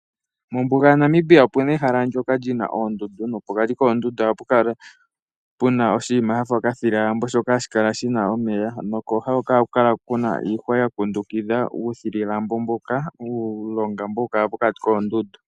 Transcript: Mombuga yaNamibia opu na ehala ndyoka li na oondundu nopokati koondundu ohapu kala pu na oshinima sha fa okathilalambo shoka hashi kala shi na omeya. Kooha ohaku kala ku na iihwa ya kundukidha uuthilalambo mboka, uulonga mboka hawu kala pokati koondundu.